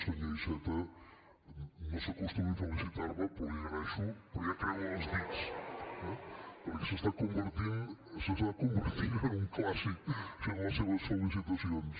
senyor iceta no s’acostumi a felicitar me però li ho agraeixo però ja creuo els dits perquè s’està convertint en un clàssic això de les seves felicitacions